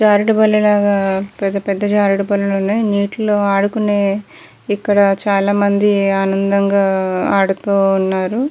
జారుడు బల్లలాగా పెద్ద పెద్ద జారుడు బల్ల ఉన్నాయి. నీటిలో ఆడుకునే ఇక్కడ చాలా మంది ఆనందంగా ఆడుతూ ఉన్నారు.